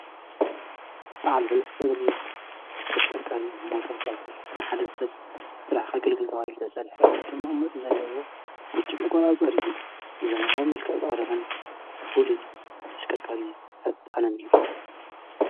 በዓል ሰለስተ እግሪ ተስከርካሪ ሞቶር ሳይፍል መሓደ ሰብ ጥልሕኸግልገን ካባቢል ተሰልሕ መጮም መእሞድ ዘለዎ ብች ምቛጸሪ ብዘመናዊ መልከዕ ዝዕረበን ፉል ተስከርካሪ ፈጣነን እዩ።